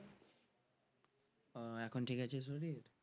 ও এখন ঠিক আছে শরীর?